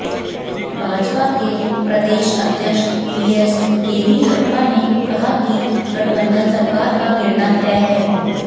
भाजपा के प्रदेश अध्यक्ष बीएस येदियुरप्पा ने कहा कि गठबंधन सरकार का गिरना तय है